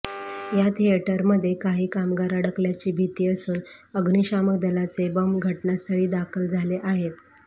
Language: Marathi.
या थिएटरमध्ये काही कामगार अडकल्याची भीती असून अग्निशामक दलाचे बंब घटनास्थळी दाखल झाले आहेत